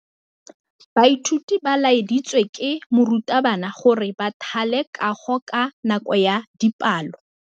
Baithuti ba laeditswe ke morutabana gore ba thale kagô ka nako ya dipalô.